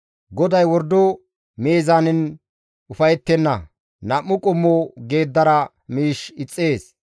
GODAY wordo meezaanen ufayettenna nam7u qommo geeddara miish ixxees.